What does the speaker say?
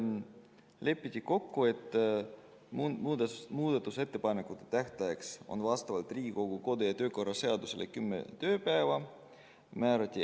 Lepiti kokku, et muudatusettepanekute tähtaeg on vastavalt Riigikogu kodu- ja töökorra seadusele kümme tööpäeva.